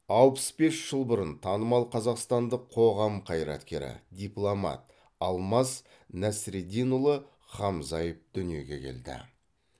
алпыс бес жыл бұрын танымал қазақстандық қоғам қайраткері дипломат алмаз нәсіреддинұлы хамзаев дүниеге келді